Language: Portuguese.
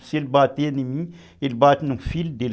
Se ele bater em mim, ele bate no filho dele.